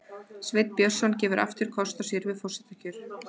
Sveinn Björnsson gefur aftur kost á sér við forsetakjör